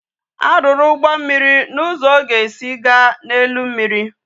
A ruru ugbo mmiri na uzo o ga esi ga na elu mmiri